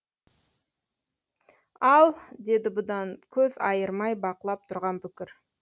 ал деді бұдан көз айырмай бақылап тұрған бүкір